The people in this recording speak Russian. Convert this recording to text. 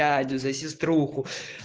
за сестру